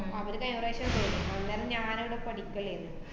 അവര് കഴിഞ്ഞ പ്രാവശ്യേ പോയി. അന്നരം ഞാനിവിടെ പഠിക്കലേരുന്നു.